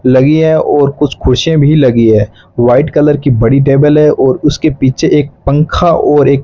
लगी है और कुछ कुर्सियां भी लगी हैं वाइट कलर की बड़ी टेबल है और उसके पीछे एक पंखा और एक--